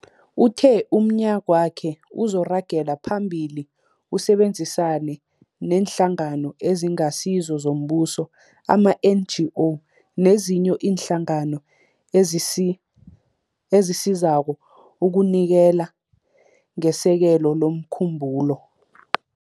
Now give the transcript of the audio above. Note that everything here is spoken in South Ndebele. Uthe umnyagwakhe uzoragela phambili usebenzisane neeNhlangano eziNgasizo zoMbuso, ama-NGO, nezinye iinhlangano ezisi ezisizako ukunikela ngesekelo lomkhumbulo.